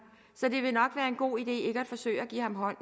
så det nok vil være en god idé ikke at forsøge at give hånd